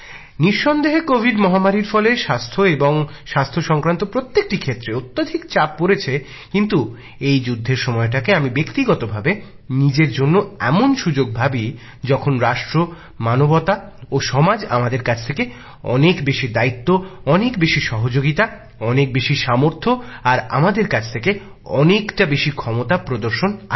নিঃসন্দেহে কোভিড মহামারীর ফলে স্বাস্থ্য এবং স্বাস্থ্য সংক্রান্ত প্রত্যেকটি ক্ষেত্রে অত্যধিক চাপ পড়েছে কিন্তু এই যুদ্ধের সময়টাকে আমি ব্যক্তিগত ভাবে নিজের জন্য এমন সুযোগ ভাবি যখন রাষ্ট্র মানবজাতি ও সমাজ আমাদের কাছ থেকে অনেক বেশি দায়িত্ব অনেক বেশি সহযোগিতা অনেক বেশি সামর্থ্য আর আমাদের কাছ থেকে অনেকটা বেশি ক্ষমতা প্রদর্শন আশা করে